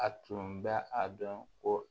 A tun bɛ a dɔn ko